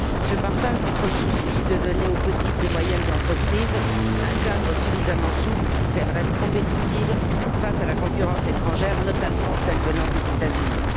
Je partage votre souci de donner aux petites et moyennes entreprises un cadre suffisamment souple pour qu'elles restent compétitives face à la concurrence étrangère, notamment celle venant des États Unis.